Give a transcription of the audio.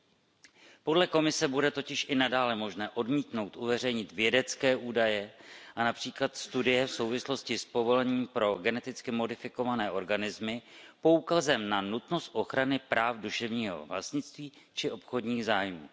Podle Evropské komise bude totiž i nadále možné odmítnout uveřejnit vědecké údaje a například studie v souvislosti s povolením pro geneticky modifikované organismy poukazem na nutnost ochrany práv duševního vlastnictví či obchodních zájmů.